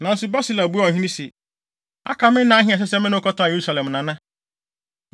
Nanso, Barsilai buaa ɔhene se, “Aka me nna ahe a ɛsɛ sɛ me ne wo kɔtena Yerusalem, Nana?